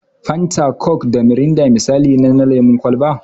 Fanta, coke da mirinda misalai ne na lemun kwalba.